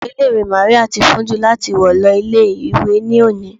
Aṣọ ilé ìwé Màríà ti fún jù fun láti wọ̀ lọ ilé ìwé ní òní.